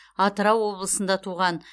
атырау облысында туған